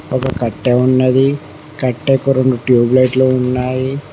ఒక కట్టే ఉన్నది కట్టెకు రెండు ట్యూబ్ లైట్ లు ఉన్నాయి.